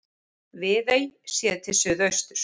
Viðey séð til suðausturs.